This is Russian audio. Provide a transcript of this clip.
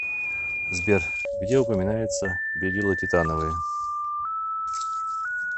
сбер где упоминается белила титановые